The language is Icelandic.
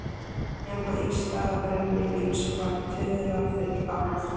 Nema í stað brennivíns var tuðra full af lofti.